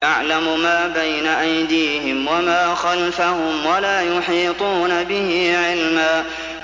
يَعْلَمُ مَا بَيْنَ أَيْدِيهِمْ وَمَا خَلْفَهُمْ وَلَا يُحِيطُونَ بِهِ عِلْمًا